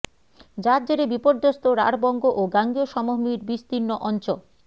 যার জেরে বিপর্যস্ত রাঢ়বঙ্গ ও গাঙ্গেয় সমভূমির বিস্তীর্ণ অঞ্চ